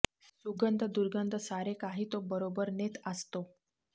सुगंध दुर्गन्ध सारे काही तो बरोबर नेत आसतो